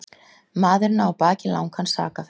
Maðurinn á að baki langan sakaferil